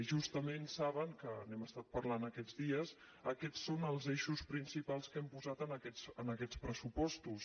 justament saben que n’hem estat parlant aquests dies aquests són els eixos principals que hem posat en aquests pressupostos